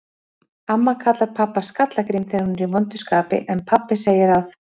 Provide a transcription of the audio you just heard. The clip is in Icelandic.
Amma kallar pabba Skalla-Grím þegar hún er í vondu skapi, en pabbi segir að